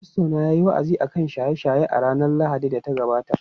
Fastona yayi wa’azi akan shaye-shaye a ranar Lahadin da ta gabata.